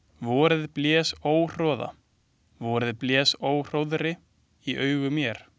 Vorið blés óhroða, vorið blés óhróðri í augu mér.